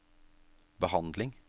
behandling